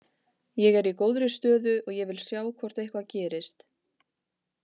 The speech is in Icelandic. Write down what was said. Ég er í góðri stöðu og ég vil sjá hvort eitthvað gerist.